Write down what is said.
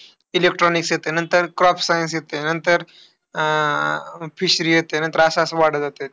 Electronics येतं. नंतर crop science येतं. नंतर अं fishery येते. नंतर असं असं वाढत जातं.